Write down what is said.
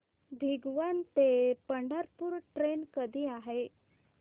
भिगवण ते पंढरपूर ट्रेन कधी आहे